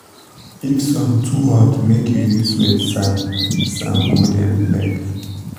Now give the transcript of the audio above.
if sun too hot make u use wet sand sand cool dem leg